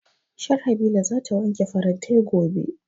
Sharhabila za ta wanke farantai gobe